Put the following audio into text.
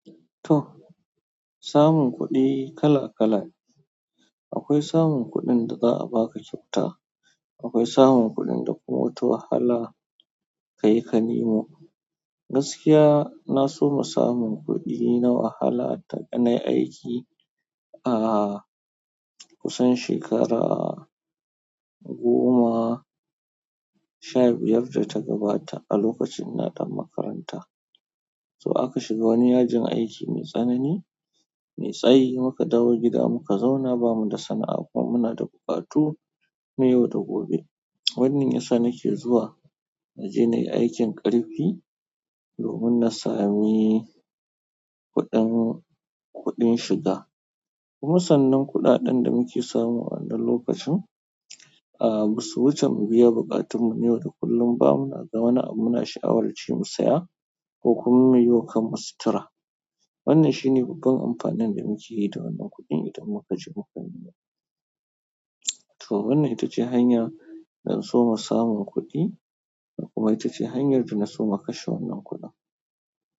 To samun kuɗi kala-kala ne. Akwai samun kuɗin da za a baka kyauta, akwai samun kuɗin da kuma ta wahala ka yi ka nemo. Gaskiya, na so samun kuɗi na wahala ta ganin aiki ah kusan shekara goma sha biyar da ta gabata a lokacin ina ɗan makaranta. To aka shiga wani yajin aiki mai tsanani, mai tsayi muka dawo gida muka zauna bamu da sana'a kuma muna da buƙatu na yau da gobe. Wannan yasa nake zuwa na je na yi aikin ƙarfi domin na sami kuɗin, kuɗin shiga. Kuma sannan kuɗaɗen da muke samu a wannan lokacin, a wuce mu biya buƙatunmu na yau da kullum ba mu na ga wani abu muna sha'awar ce mu saya ko kuma mu yi wa kanmu sutura. Wannan shi ne babban amfanin da muke yi da wannan kuɗin idan muka je muka nema. To wannan ita ce hanya da na so samun kuɗi kuma ita ce hanyar da na so na kashe wannan kuɗin.